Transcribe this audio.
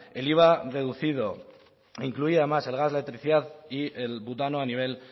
el iva reducido incluía además el gas la electricidad y el butano a nivel